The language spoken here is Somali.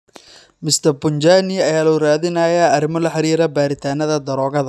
Mr. Punjani ayaa loo raadinayaa arrimo la xiriira baaritaannada daroogada.